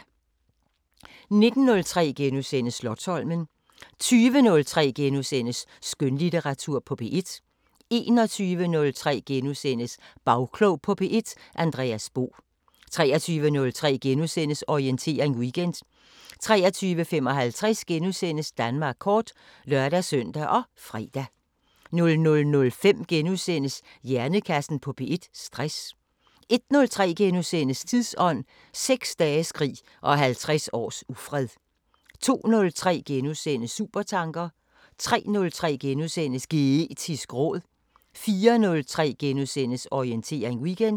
19:03: Slotsholmen * 20:03: Skønlitteratur på P1 * 21:03: Bagklog på P1: Andreas Bo * 23:03: Orientering Weekend * 23:55: Danmark kort *(lør-søn og fre) 00:05: Hjernekassen på P1: Stress 01:03: Tidsånd: 6 dages krig og 50 års ufred * 02:03: Supertanker * 03:03: Geetisk råd * 04:03: Orientering Weekend *